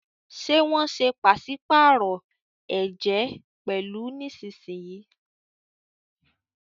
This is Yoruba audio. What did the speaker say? Ṣe wón ṣe paṣipaarọ ẹjẹ pẹlu nísìsiyìí?